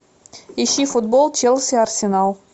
ищи футбол челси арсенал